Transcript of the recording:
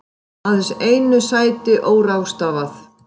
Aðeins einu sæti óráðstafað